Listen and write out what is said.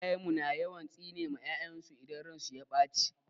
Iyayen mu na yawan tsine ma 'ya'yansu idan ransu ya ɓace.